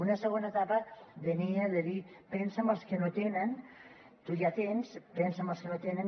una segona etapa venia de dir pensa en els que no tenen tu ja tens pensa en els que no tenen